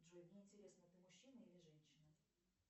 джой мне интересно ты мужчина или женщина